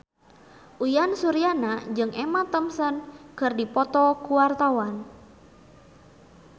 Uyan Suryana jeung Emma Thompson keur dipoto ku wartawan